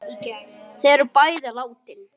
Þau er bæði látin.